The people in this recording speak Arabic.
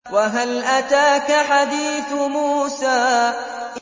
وَهَلْ أَتَاكَ حَدِيثُ مُوسَىٰ